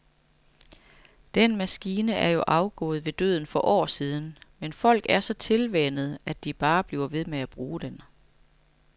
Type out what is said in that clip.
Den maskine er jo afgået ved døden for år siden, men folk er så tilvænnet, at de bare bliver ved med at bruge den.